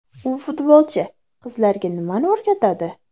U futbolchi qizlarga nimani o‘rgatadi?